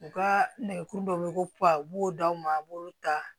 U ka nɛgɛ kuru dɔ bɛ ko b'o d'aw ma a b'olu ta